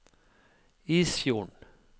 Isfjorden